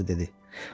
atası dedi.